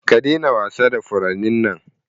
Ka daina wasa da furannin nan!